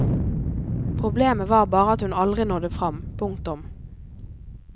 Problemet var bare at hun aldri nådde frem. punktum